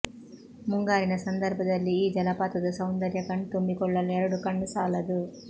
ಮುಂಗಾರಿನ ಸಂದರ್ಭದಲ್ಲಿ ಈ ಜಲಪಾತದ ಸೌಂದರ್ಯ ಕಣ್ತುಂಬಿಕೊಳ್ಳಲು ಎರಡು ಕಣ್ಣು ಸಾಲದು